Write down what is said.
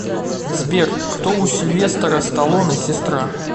сбер кто у сильвестора сталоне сестра